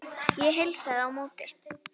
Ég heilsa á móti.